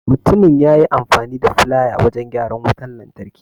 Mutumin yayi amfani da filaya wajan gyaran wutan lantarki.